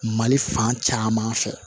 Mali fan caman fɛ